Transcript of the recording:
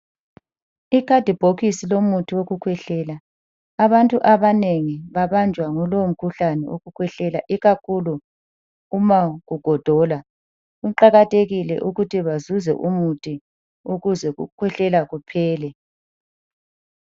Ikhadibhokisi lomuthi wokukhwehlela. Abantu abanengi babanjwa ngulowomkhuhlane owokukhwehlela ikakhulu uma kugodola. Kuqakathekile ukuthi bazuze umuthi ukuze ukukhwehlela kuphele.